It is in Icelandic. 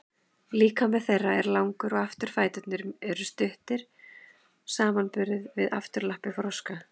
líkami þeirra er langur og afturfæturnir eru mjög stuttir samanborið við afturlappir froska